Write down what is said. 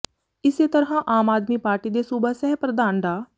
ਇਸੇ ਤਰ੍ਹਾਂ ਆਮ ਆਦਮੀ ਪਾਰਟੀ ਦੇ ਸੂਬਾ ਸਹਿ ਪ੍ਰਧਾਨ ਡਾ